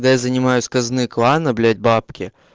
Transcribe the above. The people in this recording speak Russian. когда я занимаю из казны клана блять бабки